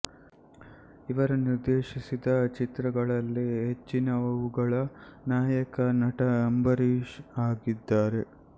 ಇವರು ನಿರ್ದೇಶಿಸಿದ ಚಿತ್ರಗಳಲ್ಲಿ ಹೆಚ್ಚಿನವುಗಳ ನಾಯಕ ನಟ ಅಂಬರೀಷ್ ಆಗಿದ್ದಾರೆ